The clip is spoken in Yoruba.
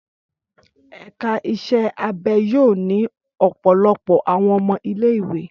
Ẹka iṣẹ abẹ yoo ni ọpọlọpọ awọn ọmọ ile-iwe